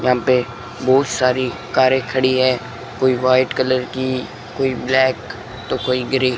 यहां पे बहोत सारी कारें खड़ी है कोई व्हाइट कलर की कोई ब्लैक तो कोई ग्रे --